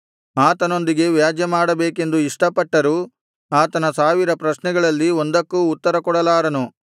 ಆತನೊಂದಿಗೆ ವ್ಯಾಜ್ಯಮಾಡಬೇಕೆಂದು ಇಷ್ಟಪಟ್ಟರೂ ಆತನ ಸಾವಿರ ಪ್ರಶ್ನೆಗಳಲ್ಲಿ ಒಂದಕ್ಕೂ ಉತ್ತರಕೊಡಲಾರನು